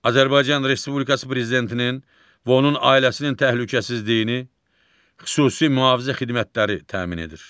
Azərbaycan Respublikası prezidentinin və onun ailəsinin təhlükəsizliyini xüsusi mühafizə xidmətləri təmin edir.